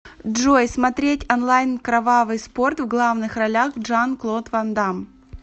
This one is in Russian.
джой смотреть онлайн кровавый спорт в главных ролях джан клод ван дамм